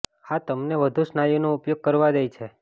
આ તમને વધુ સ્નાયુનો ઉપયોગ કરવા દે છે